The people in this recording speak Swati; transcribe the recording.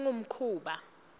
kungumkhuba